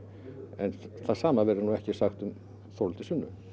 en hið sama verður ekki sagt um Þórhildi Sunnu